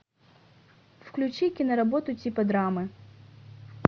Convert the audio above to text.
включи киноработу типа драмы